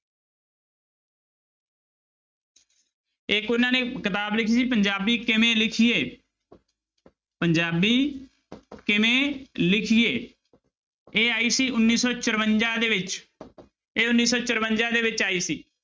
ਇੱਕ ਉਹਨਾਂ ਨੇ ਕਿਤਾਬ ਲਿਖੀ ਸੀ ਪੰਜਾਬੀ ਕਿਵੇਂ ਲਿਖੀਏ ਪੰਜਾਬੀ ਕਿਵੇਂ ਲਿਖੀਏ ਇਹ ਆਈ ਸੀ ਉੱਨੀ ਸੌ ਚੁਰੰਜਾ ਦੇ ਵਿੱਚ ਇਹ ਉੱਨੀ ਸੌ ਚੁਰੰਜਾ ਦੇ ਵਿੱਚ ਆਈ ਸੀ।